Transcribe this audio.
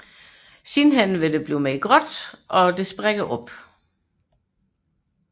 Senere bliver den mere grålig og sprækker op